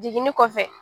Jiginni kɔfɛ